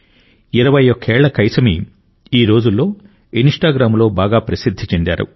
21 ఏళ్ల కైసమీ ఈ రోజుల్లో ఇన్స్టాగ్రామ్లో బాగా ప్రసిద్ధి చెందారు